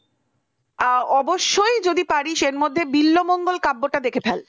ও অবশ্যই যদি পারিস এর মধ্যে বিলল মঙ্গলকাব্যটা দেখে ফেল